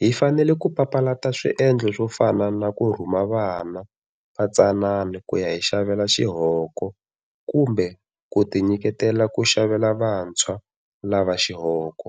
hi fanele ku papalata swiendlo swo fana na ku rhuma vana vatsanana ku ya hi xavela xihoko kumbe ku tinyiketela ku xavela vantshwa lava xihoko.